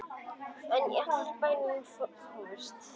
En allir í bænum fórust.